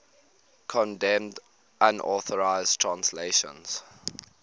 condemned unauthorized translations